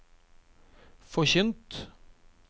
forkynt